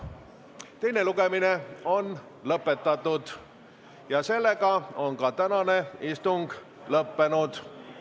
Teine lugemine on lõpetatud ja tänane istung on lõppenud.